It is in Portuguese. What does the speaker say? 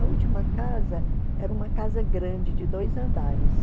A última casa era uma casa grande de dois andares.